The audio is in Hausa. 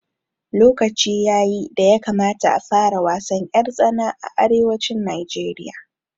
Lokaci yayi da ya kamata a fara wasan ƴar tsana a arewacin Najeriya